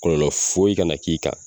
Kɔlɔlɔ foyi kana na k'i kan